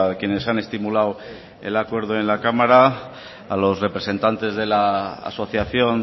quienes han estimulado el acuerdo en la cámara a los representantes de la asociación